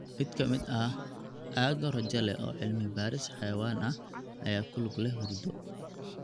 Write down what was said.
Mid ka mid ah aag rajo leh oo cilmi baaris xayawaan ah ayaa ku lug leh hurdo.